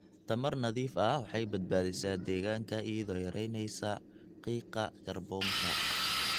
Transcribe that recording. Tamar nadiif ah waxay badbaadisaa deegaanka iyadoo yaraynaysa qiiqa kaarboonka.